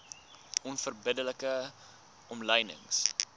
onverbidde like omlynings